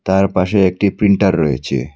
তার পাশে একটি প্রিন্টার রয়েছে।